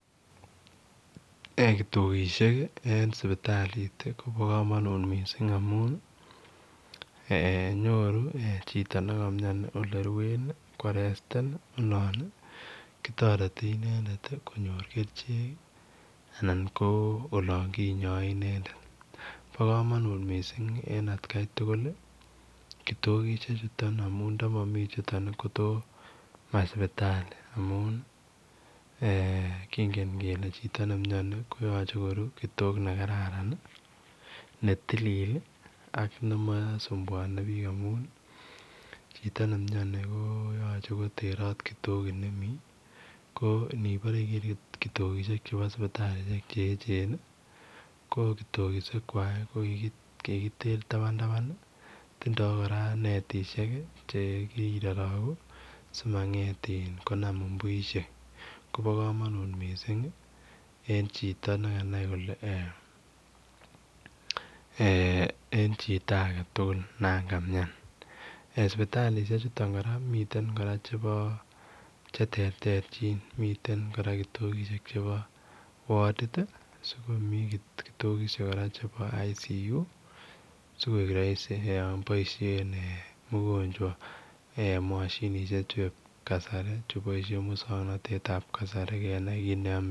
Ee kitokishek en sipitalit Kobo komonut missing amunii nyoru chito nekomioni oleruenii korestini olon kitoreti inendet konyor kericheki anan ko olon kinyoe inendet bo komonut missing en atkai tugulikitokishechuton amun ndomomi chutoni kotomo ma sipitalit amunii kingen kele chito nemioni koyoche koruu kitok nekararan netilil ak nemosumpuoni biik amun chito nemioni koyoche koterot kitokit nemi konipore iker kitokishechu bo sipitalechu eechen kokitokishekwak kokiter taban tabani tindo kora netisheki chekiroroku simanget in komanam mbuishekkopo komonut missing en chito nekanai kole en chito agetugul Nan kamian sipitalishechuto kora komiten kora chebo cheterterchin miten kora kitokishek chepo wodid sikomi kora kitokishek chepo ICU sikoik roisi Yoon boishen mugonchwa moshinishek chuep kasari chupoishen muswoknotetab kasari kenai kele amee nee chito